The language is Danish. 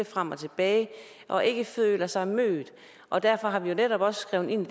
frem og tilbage og ikke føler sig mødt og derfor har vi jo netop også skrevet ind